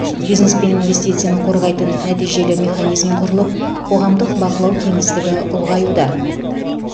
бизнес пен инвестицияны қорғайтын нәтижелі механизм құрылып қоғамдық бақылау кеңістігі ұлғаюда